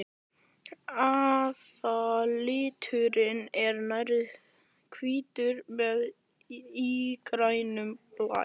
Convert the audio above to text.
Aðalliturinn er nærri hvítur með ígrænum blæ.